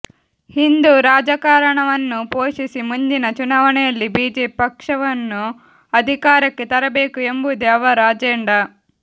ಹಿಂದೂ ರಾಜಕಾರಣವನ್ನು ಪೋಷಿಸಿ ಮುಂದಿನ ಚುನಾವಣೆಯಲ್ಲಿ ಬಿಜೆಪಿ ಪಕ್ಷವನ್ನು ಅಧಿಕಾರಕ್ಕೆ ತರಬೇಕು ಎಂಬುದೇ ಅವರ ಅಜೆಂಡಾ